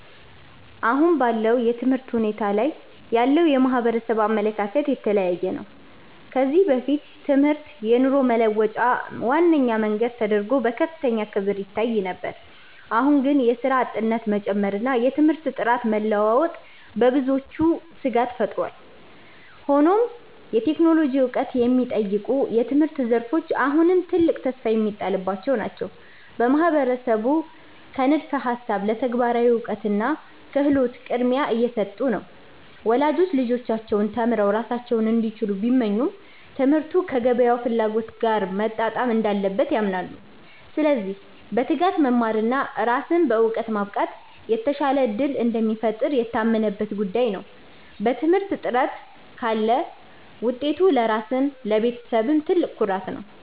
አሁን ባለው የትምህርት ሁኔታ ላይ ያለው የማህበረሰብ አመለካከት የተለያየ ነው። ከዚህ በፊት ትምህርት የኑሮ መለወጫ ዋነኛ መንገድ ተደርጎ በከፍተኛ ክብር ይታይ ነበር። አሁን ግን የሥራ አጥነት መጨመርና የትምህርት ጥራት መለዋወጥ በብዙዎች ስጋት ፈጥሯል። ሆኖም የቴክኖሎጂ ዕውቀት የሚጠይቁ የትምህርት ዘርፎች አሁንም ትልቅ ተስፋ የሚጣልባቸው ናቸው። ማህበረሰቡ ከንድፈ ሃሳብ ለተግባራዊ እውቀትና ክህሎት ቅድሚያ እየሰጡ ነው። ወላጆች ልጆቻቸው ተምረው ራሳቸውን እንዲችሉ ቢመኙም፣ ትምህርቱ ከገበያው ፍላጎት ጋር መጣጣም እንዳለበት ያምናሉ። ስለዚህ በትጋት መማርና ራስን በዕውቀት ማብቃት የተሻለ ዕድል እንደሚፈጥር የታመነበት ጉዳይ ነው። በትምህርት ጥረት ካለ ውጤቱ ለራስም ለቤተሰብም ትልቅ ኩራት ነው።